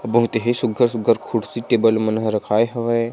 बहुत ही सुखर सुखर कुर्सी टेबल मनहेरखाय होवें।